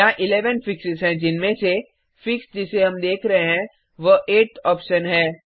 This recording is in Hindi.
यहाँ 11 फिक्सेस हैं जिनमें से फिक्स जिसे हम देख रहे हैं वह 8थ ऑप्शन है